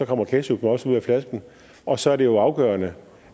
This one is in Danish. kommer ketchuppen også ud af flasken og så er det jo afgørende